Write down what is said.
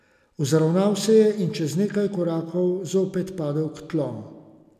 Vzravnal se je in čez nekaj korakov zopet padel k tlom.